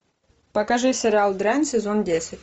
покажи сериал дрянь сезон десять